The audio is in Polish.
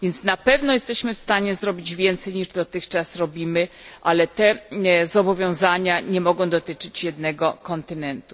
Na pewno jesteśmy w stanie zrobić więcej niż dotychczas, ale te zobowiązania nie mogą dotyczyć jednego kontynentu.